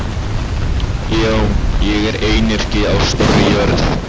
Já, ég er einyrki á stórri jörð.